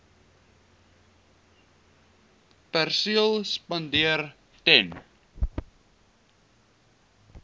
perseel spandeer ten